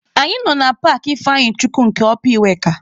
Anyị nọ na paakị Ifeanyichukwu nke ọpa iweka..